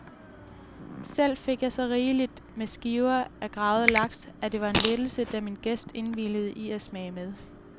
Selv fik jeg så rigeligt med skiver af gravad laks, at det var en lettelse, da min gæst indvilligede i at smage med.